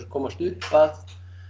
komast upp að